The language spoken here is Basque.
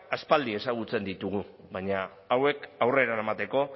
aspaldi ezagutzen ditugu baina hauek aurrera eramateko